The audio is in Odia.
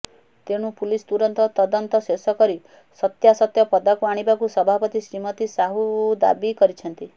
ତେଣୁ ପୁଲିସ ତୁରନ୍ତ ତଦନ୍ତ ଶେଷ କରି ସତ୍ୟାସତ୍ୟ ପଦାକୁ ଆଣିବାକୁ ସଭାପତି ଶ୍ରୀମତି ସାହୁ ଦାବି କରିଛନ୍ତି